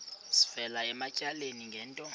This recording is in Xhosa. sivela ematyaleni ngento